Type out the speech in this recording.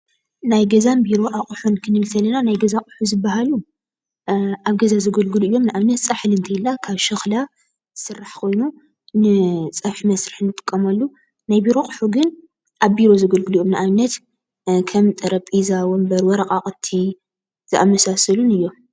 ናይ ገዛን ቢሮን ኣቕሑ ክንብል ከለና ናይ ገዛ ኣቕሑ ዝባሃሉ ኣብ ገዛ ዘገልግሎ እዮም። ንኣብነት ፃሕሊ እንተይልና ካብ ሸክላ ዝስራሕ ኾይኑ ንፀብሒ መስርሒ ንጥቀመሉ፡፡ ናይ ቢሮ ኣቕሑ ግን ኣብ ቢሮ ዘገልግሎ እዮም፡፡ ንኣብነት ከም ጠረጼዛ፣ ወንበር፣ ወረቓቕቲ ዝኣመሳሰሉን እዮም፡፡